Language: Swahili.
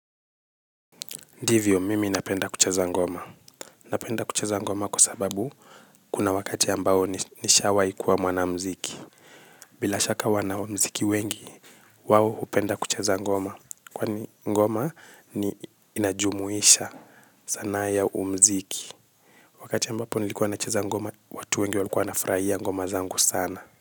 Ndivyo, mimi napenda kucheza ngoma. Napenda kuchezangoma kwa sababu kuna wakati ambao nishawaikuwa mwanamziki. Bila shaka wanamziki wengi, wao hupenda kucheza ngoma. Kwani ngoma inajumuisha sanaa ya umziki. Wakati ambapo nilikuwa nacheza ngoma, watu wengi walikuwa wanafurahia ngoma zangu sana.